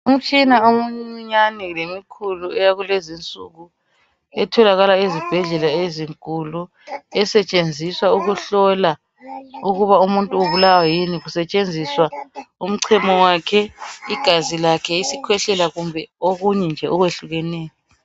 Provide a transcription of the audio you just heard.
Imtshina emincinyane lemikhulu eyakulezi nsuku etholakala ezibhedlela ezinkulu, esetshenziswa ukuhlola ukuba umuntu ubulawa yini, kusetshenziswa umchemo wakhe, igazi lakhe, isikhwehlela kumbe okunye nje okwehlukeneyo.